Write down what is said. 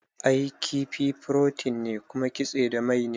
I, kifi furotin ne kuma kitse da mai ne